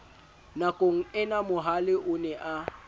nakongena mohale o ne a